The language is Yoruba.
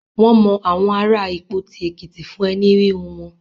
Wọ́n mọ àwọn ará Ìpoti Èkìtì fún ẹní híhun wọn.